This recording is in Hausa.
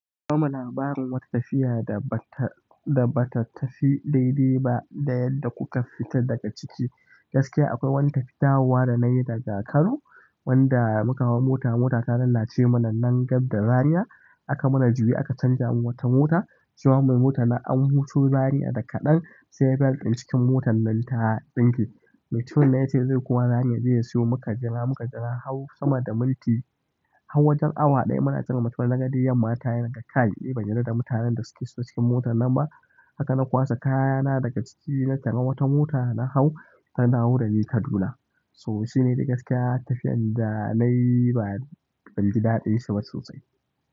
Koma labarin wata tafiya da ba ta tafi daidai ba da yadda kuka fita daga ciki. Gaskiya akwai wata wani tafiya dawowa da na yi daga Kano wanda muka hau mota, motar ta lalace mana nan gab da Zariya. Aka mana juye aka canjamu wata mota. Cewan mai motan an wuto zariya da kaɗan sai belt ɗin motan ta tsinke mutumin nan ya ce zai koma Zariya zai siyo muka jira, muka jira har sama da minti, har wajen awa ɗaya muna jiran mutumin nan. Naga dai yamma ta kai, nace kai ban yarda da mutanen da suke cikin motar nan ba. Haka na kwaso kayana daga ciki na tari wata mota na hau tana wurani Kaduna. So shine dai gaskiya tafiyar da nayi ba zanji daɗin shi sosai.